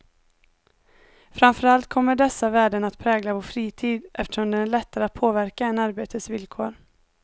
Framför allt kommer dessa värden att prägla vår fritid, eftersom den är lättare att påverka än arbetets villkor.